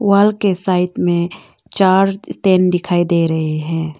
वाल के साइड में चार स्टैंड दिखाई दे रहे हैं।